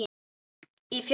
Í Fjósinu